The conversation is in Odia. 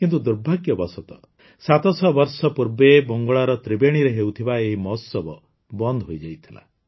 କିନ୍ତୁ ଦୁର୍ଭାଗ୍ୟବଶତଃ ୭୦୦ ବର୍ଷ ପୂର୍ବେ ବଙ୍ଗଳାର ତ୍ରିବେଣୀରେ ହେଉଥିବା ଏହି ମହୋତ୍ସବ ବନ୍ଦ ହୋଇଯାଇଥିଲା